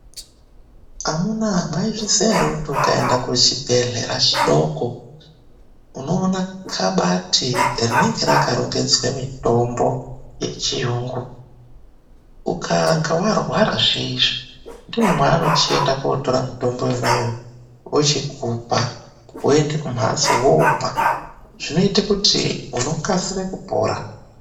Amunaa mwaizviziya ere kuti ukaenda kuchibhehlera chidoko unoona khabati rinenge rakarongedzwe mitombo yechiyungu. Ukanga warwara zviyezvi ndimwo mwevanochienda kotora mutombo yona iyoyo vochikupa woenda kumhatso woomwa zvinoita kuti unokasire kupora.